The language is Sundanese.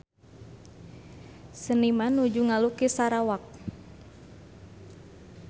Seniman nuju ngalukis Sarawak